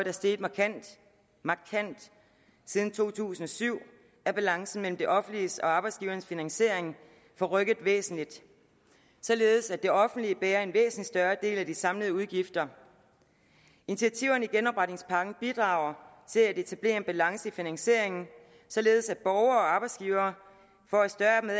er steget markant markant siden to tusind og syv er balancen mellem det offentliges og arbejdsgivernes finansiering forrykket væsentligt således at det offentlige bærer en væsentlig større del af de samlede udgifter initiativerne i genopretningspakken bidrager til at etablere en balance i finansieringen således at borgere og arbejdsgivere får et større